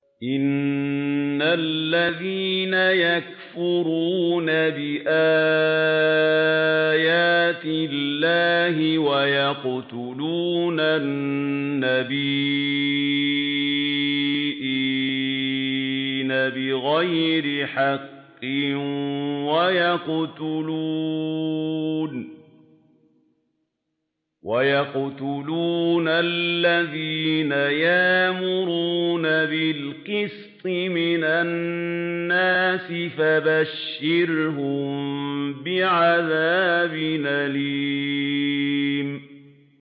إِنَّ الَّذِينَ يَكْفُرُونَ بِآيَاتِ اللَّهِ وَيَقْتُلُونَ النَّبِيِّينَ بِغَيْرِ حَقٍّ وَيَقْتُلُونَ الَّذِينَ يَأْمُرُونَ بِالْقِسْطِ مِنَ النَّاسِ فَبَشِّرْهُم بِعَذَابٍ أَلِيمٍ